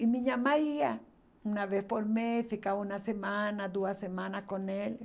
E minha mãe ia, uma vez por mês, ficava uma semana, duas semanas com ele.